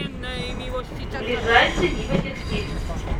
ближайший вива текстиль